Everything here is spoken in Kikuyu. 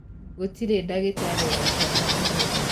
Gũtirĩ ndagĩtarĩ wa ciana ũmũthĩ.